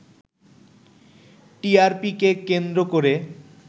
টিআরপিকে কেন্দ্র করে